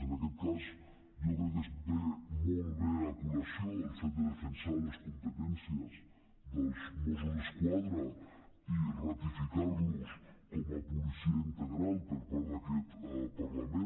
en aquest cas jo crec que es porta molt bé a col·lació el fet de defensar les competències dels mossos d’esquadra i ratificar los com a policia integral per part d’aquest parlament